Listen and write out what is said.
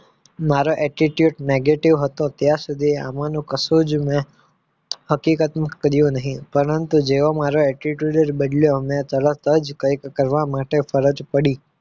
મારો attitude negative હતો ત્યાં સુધી આમાનું કશું જ મેં હકીકત માં કર્યું નહીં પરંતુ જેવો મારો attitude જ બદલ્યો મેં તરત જ કંઈક કરવા માટે ફરજ પડી